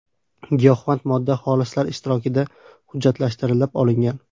Giyohvand modda xolislar ishtirokida hujjatlashtirilib olingan.